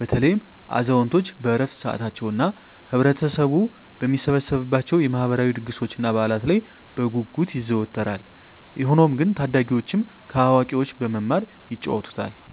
(በተለይም አዛውንቶች በዕረፍት ሰዓታቸው) እና ህብረተሰቡ በሚሰበሰብባቸው የማህበራዊ ድግሶችና በዓላት ላይ በጉጉት ይዘወተራል። ሆኖም ግን ታዳጊዎችም ከአዋቂዎች በመማር ይጫወቱታል።